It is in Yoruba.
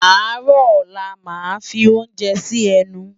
Àárò òlá lá má fi óoúnjè si ènú